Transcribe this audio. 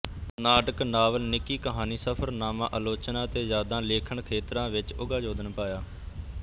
ਨਾਟਕ ਨਾਵਲ ਨਿੱਕੀ ਕਹਾਣੀ ਸਫਰਨਾਮਾ ਆਲੋਚਨਾ ਅਤੇ ਯਾਦਾਂ ਲਿਖਣਖੇਤਰਾਂ ਵਿੱਚ ਉਘਾ ਯੋਗਦਾਨ ਪਾਇਆ